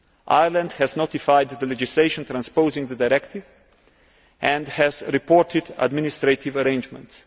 Ireland has notified the legislation transposing the directive and has reported administrative arrangements.